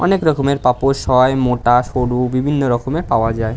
অনেক রকমের পাপোস হয়। মোটা সরু বিভিন্ন রকমের পাওয়া যায়।